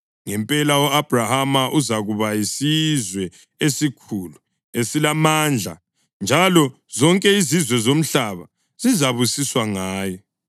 Ngempela u-Abhrahama uzakuba yisizwe esikhulu esilamandla, njalo zonke izizwe zomhlaba zizabusiswa ngaye.